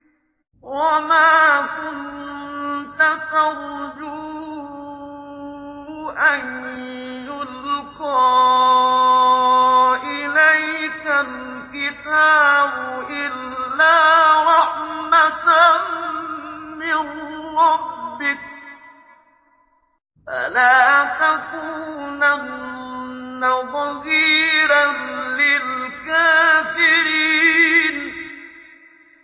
وَمَا كُنتَ تَرْجُو أَن يُلْقَىٰ إِلَيْكَ الْكِتَابُ إِلَّا رَحْمَةً مِّن رَّبِّكَ ۖ فَلَا تَكُونَنَّ ظَهِيرًا لِّلْكَافِرِينَ